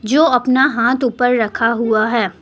जो अपना हाथ ऊपर रखा हुआ है।